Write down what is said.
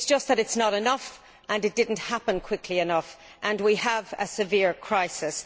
It is just that it is not enough and it did not happen quickly enough and we have a severe crisis.